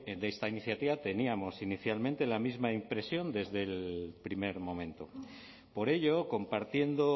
de esta iniciativa teníamos inicialmente la misma impresión desde el primer momento por ello compartiendo